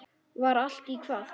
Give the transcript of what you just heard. Var allt í hvað?